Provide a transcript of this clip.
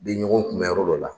Bɛ ɲɔgɔn kun bɛ yɔrɔ dɔ la.